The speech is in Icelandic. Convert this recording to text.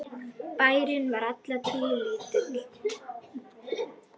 Bærinn var alla tíð lítill.